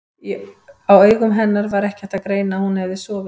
Á augum hennar var ekki hægt að greina að hún hefði sofið.